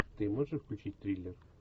ты можешь включить триллер